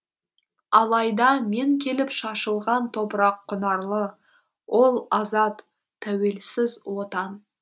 алайда мен келіп шашылған топырақ құнарлы ол азат тәуелсіз отан